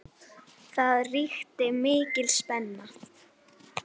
Það ríkti mikil spenna.